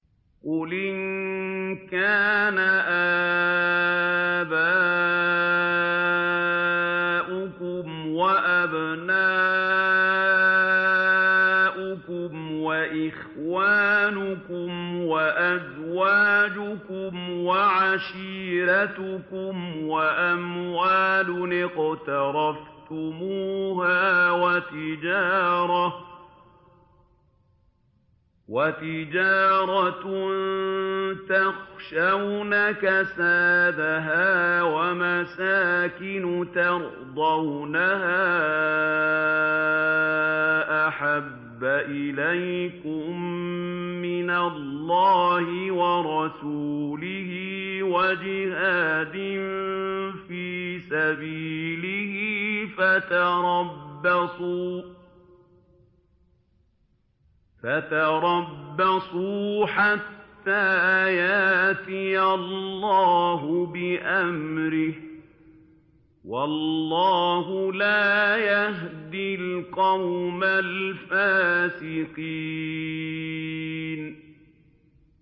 قُلْ إِن كَانَ آبَاؤُكُمْ وَأَبْنَاؤُكُمْ وَإِخْوَانُكُمْ وَأَزْوَاجُكُمْ وَعَشِيرَتُكُمْ وَأَمْوَالٌ اقْتَرَفْتُمُوهَا وَتِجَارَةٌ تَخْشَوْنَ كَسَادَهَا وَمَسَاكِنُ تَرْضَوْنَهَا أَحَبَّ إِلَيْكُم مِّنَ اللَّهِ وَرَسُولِهِ وَجِهَادٍ فِي سَبِيلِهِ فَتَرَبَّصُوا حَتَّىٰ يَأْتِيَ اللَّهُ بِأَمْرِهِ ۗ وَاللَّهُ لَا يَهْدِي الْقَوْمَ الْفَاسِقِينَ